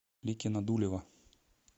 ликино дулево